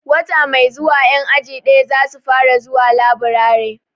Wata mai zuwa 'yan aji daya za su fara zuwa laburare.